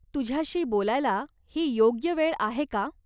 तुझ्याशी बोलायला ही योग्य वेळ आहे का?